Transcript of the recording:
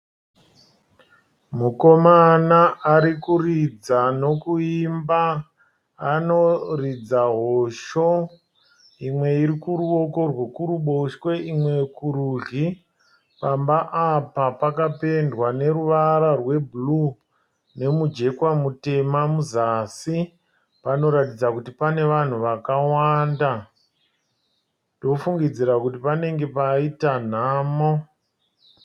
Mukomana ari kuridza nokuimba. Anoridza hosho, imwe iri kuruoko rwekuruboshwe imwe kurudyi. Pamba apa pakapendwa neruvara rwe "blue" nomujekwa mutema muzasi. Panoratidza kuti pane vanhu vakawanda. Ndofungidzira kuti panenge paita nhamo.